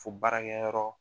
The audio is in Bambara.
Fo baarakɛyɔrɔ